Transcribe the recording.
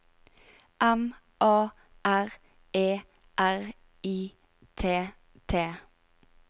M A R E R I T T